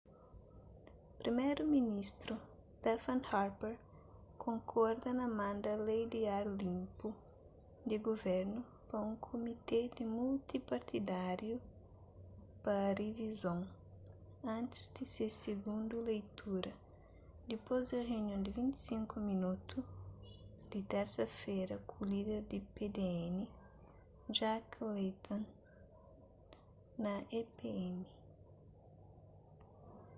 priméru-ministru stephen harper konkorda na manda lei di ar linpu di guvernu pa un kumité di multi-partidáriu pa rivizon antis di se sigundu leitura dipôs di runion di 25 minotu di tersa-fera ku líder di pdn jack layton na epm